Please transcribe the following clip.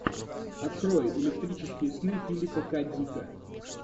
открой электрические сны филипа к дика